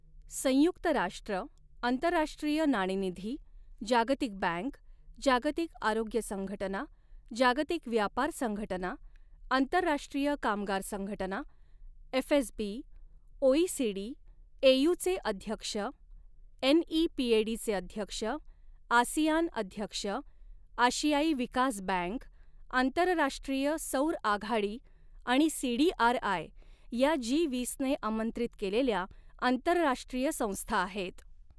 संयुक्त राष्ट्र, आंतरराष्ट्रीय नाणेनिधी, जागतिक बँक, जागतिक आरोग्य संघटना, जागतिक व्यापार संघटना, आंतरराष्ट्रीय कामगार संघटना, एफएसबी ओईसीडी, एयू चे अध्यक्ष, एनईपीएडी चे अध्यक्ष, आसियान अध्यक्ष, आशियाई विकास बँक, आंतरराष्ट्रीय सौर आघाडी आणि सीडीआरआय या जी वीसने आमंत्रित केलेल्या आंतरराष्ट्रीय संस्था आहेत.